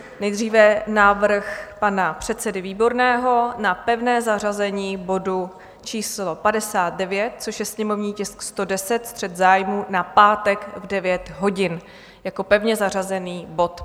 Nejdříve návrh pana předsedy Výborného na pevné zařazení bodu číslo 59, což je sněmovní tisk 110, střet zájmů, na pátek v 9 hodin, jako pevně zařazený bod.